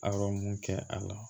Awɔ mun kɛ a la